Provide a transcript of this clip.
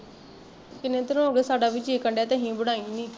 ਕਿੰਨੇ ਦਿਨ ਹੋਗੇ ਸਾਡਾ ਵੀ ਜੀਅ ਕਰਨ ਡਿਆ ਤੇ ਅਸੀਂ ਬਣਾਏ ਨੀ